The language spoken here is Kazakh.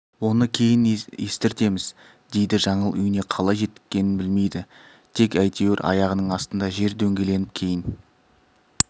оны кейін естіртеміз дейді жаңыл үйіне қалай жеткенін білмейді тек әйтеуір аяғының астында жер дөңгеленіп кейін